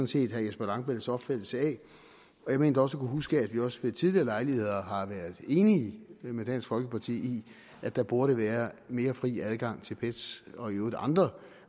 set herre jesper langballes opfattelse af jeg mener også huske at vi også ved tidligere lejligheder har været enige med dansk folkeparti i at der burde være mere fri adgang til pet’s og i øvrigt andre